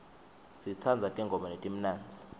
sitsandza tingoma letimnandzi